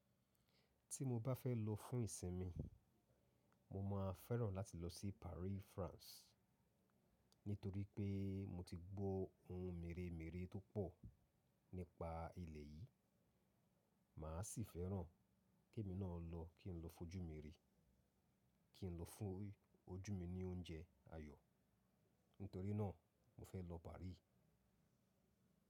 Tí mo bá fẹ́ lọ fún ìsinmi, mo máa fẹ́ràn láti lọ sí Paris, France, nítorí pé mo ti gbó ohun mèremère tó pọ̀ nípa ilẹ̀ yìí. Mà á sì fẹ́ràn ke mi náà lọ, kí n lọ fojú mi rí, kí n lọ fún ojú mi ní oúnjẹ ayọ̀. Nítorí náà mo fẹ́ lọ Paris.